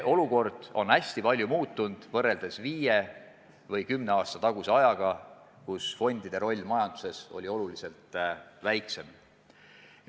Olukord on hästi palju muutunud võrreldes viie või kümne aasta taguse ajaga, mil fondide roll majanduses oli märksa väiksem.